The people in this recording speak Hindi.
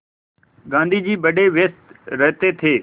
गाँधी जी बड़े व्यस्त रहते थे